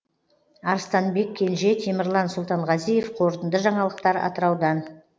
арыстанбек кенже темірлан сұлтанғазиев қорытынды жаңалықтар атыраудан